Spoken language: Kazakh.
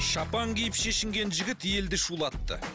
шапан киіп шешінген жігіт елді шулатты